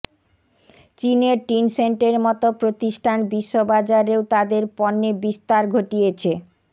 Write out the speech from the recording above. চীনের টিনসেন্টের মতো প্রতিষ্ঠান বিশ্ববাজারেও তাদের পণ্যে বিস্তার ঘটিয়েছে